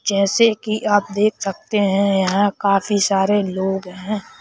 जैसे कि आप देख सकते हैं यह काफी सारे लोग हैं।